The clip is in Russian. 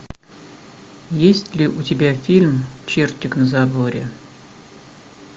есть ли у тебя фильм чертик на заборе